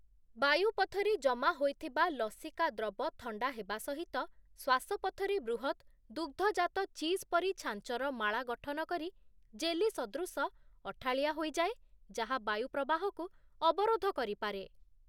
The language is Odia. ବାୟୁପଥରେ ଜମା ହୋଇଥିବା ଲସିକା ଦ୍ରବ ଥଣ୍ଡା ହେବା ସହିତ, ଶ୍ୱାସପଥରେ ବୃହତ୍ ଦୁଗ୍ଧଜାତ ଚିଜ୍ ପରି ଛାଞ୍ଚର ମାଳା ଗଠନ କରି, ଜେଲି ସଦୃଶ ଅଠାଳିଆ ହୋଇଯାଏ, ଯାହା ବାୟୁ ପ୍ରବାହକୁ ଅବରୋଧ କରିପାରେ ।